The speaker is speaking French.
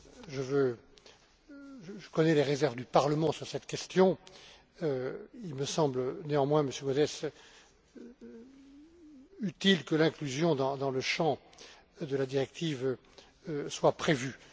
Je connais les réserves du Parlement sur cette question. Il me semble, néanmoins, Monsieur Gauzès, utile que l'inclusion dans le champ de la directive soit prévue.